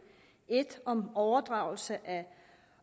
en om overdragelse af